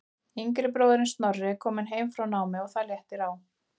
Yngri bróðirinn Snorri er kominn heim frá námi og það léttir á.